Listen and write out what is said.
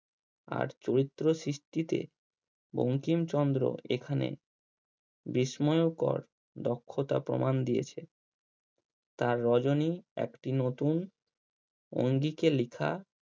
আর চরিত্র সৃষ্টিতে বঙ্কিমচন্দ্র এখানে বিস্ময়কর দক্ষতার প্রমান দিয়েছে। তার রজনী একটি নতুন অঙ্গীকে লেখা